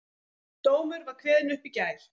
Dómur var kveðinn upp í gær